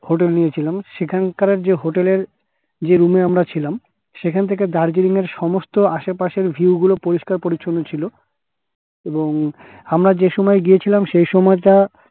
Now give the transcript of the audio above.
hotel নিয়েছিলাম সেখানকার যে hotel এর যে room এ আমরা ছিলাম সেখান থেকে দার্জিলিঙের সমস্ত আশেপাশের ঝিল গুলো পরিষ্কার পরিছন্ন ছিল এবং আমরা যেই সময় গিয়েছিলাম সেই সময় টা